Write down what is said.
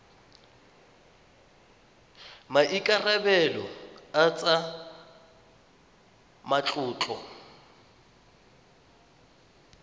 a maikarebelo a tsa matlotlo